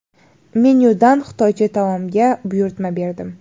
Menyudan xitoycha taomga buyurtma berdim.